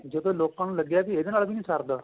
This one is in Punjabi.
ਜਦੋਂ ਲੋਕਾਂ ਨੂੰ ਲੱਗਿਆਂ ਵੀ ਇਹਦੇ ਨਾਲ ਨਹੀਂ ਸਰਦਾ